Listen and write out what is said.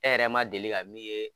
E yɛrɛ ma deli ka min ye